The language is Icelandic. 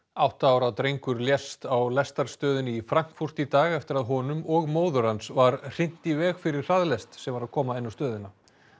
átta ára drengur lést á lestarstöðinni í Frankfurt í dag eftir að honum og móður hans var hrint í veg fyrir hraðlest sem var að koma inn á stöðina